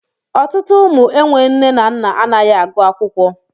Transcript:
Ọtụtụ ụmụ enwe nne na nna anaghị agụ akwụkwọ.